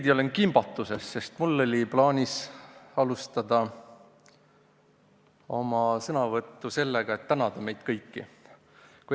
Ma olen veidi kimbatuses, sest mul oli plaanis alustada oma sõnavõttu sellega, et meid kõiki tänada.